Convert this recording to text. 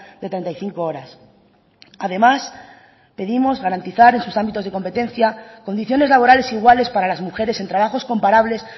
de treinta y cinco horas además pedimos garantizar en sus ámbitos de competencia condiciones laborales iguales para las mujeres en trabajos comparables